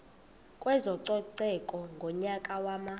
kwezococeko ngonyaka wama